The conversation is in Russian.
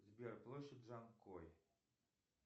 сбер площадь джанкой